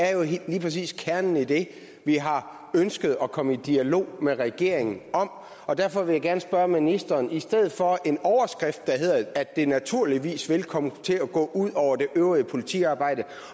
er jo lige præcis kernen i det vi har ønsket at komme i dialog med regeringen om og derfor vil jeg gerne spørge ministeren i stedet for en overskrift der hedder at det naturligvis vil komme til at gå ud over det øvrige politiarbejde